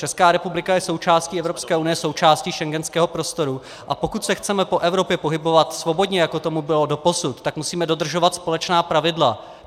Česká republika je součástí Evropské unie, součástí schengenského prostoru, a pokud se chceme po Evropě pohybovat svobodně, jako tomu bylo doposud, tak musíme dodržovat společná pravidla.